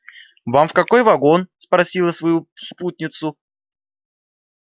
вам в какой вагон спросил я свою спутницу